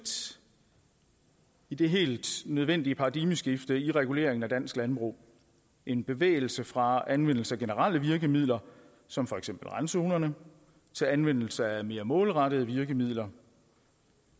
i det helt nødvendige paradigmeskifte i reguleringen af dansk landbrug en bevægelse fra anvendelse af generelle virkemidler som for eksempel randzonerne til anvendelse af mere målrettede virkemidler